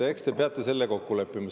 Eks te peate selle kokku leppima.